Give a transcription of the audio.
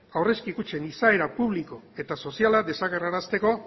aurrezki kutxen izaera publiko eta soziala desagerrarazteko